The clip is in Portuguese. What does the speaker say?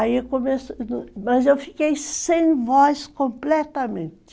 Aí eu comecei, mas eu fiquei sem voz completamente.